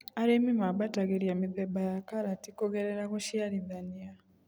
Arĩmi mabatagĩria mĩthemba ya karati kũgerera gũciarithania.